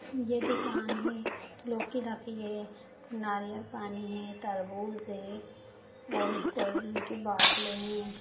ये दुकान है लोकी रखी गई है नारियल पानी है तरबूज है और कोल्ड ड्रिंक की बोतलें हैं।